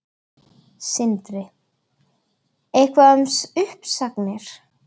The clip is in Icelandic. Sindri: Eitthvað um uppsagnir?